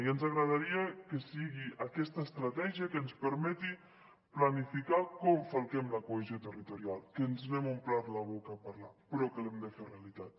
i ens agradaria que sigui aquesta estratègia que ens permeti planificar com falquem la cohesió territorial que ens n’hem omplert la boca parlant però que l’hem de fer realitat